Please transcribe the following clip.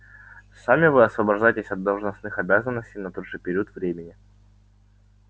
сами вы освобождаетесь от должностных обязанностей на тот же период времени